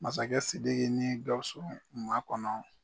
Masakɛ Sidiki ni Gausu makɔnɔ.